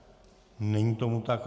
Není tomu tak.